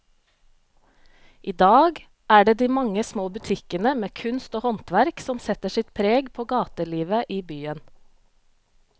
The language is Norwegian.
I dag er det de mange små butikkene med kunst og håndverk som setter sitt preg på gatelivet i byen.